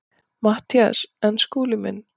MATTHÍAS: En Skúli minn.